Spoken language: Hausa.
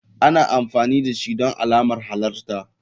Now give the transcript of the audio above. Ana amfani dashi don alamar halarta.